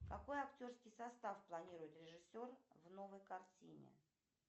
какой актерский состав планирует режиссер в новой картине